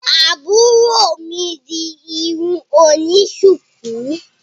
Àbúrò mi di irun oni shuku,